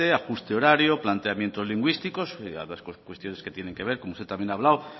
ajuste horario planteamientos lingüísticos ambas cuestiones que tienen que ver como usted también ha hablado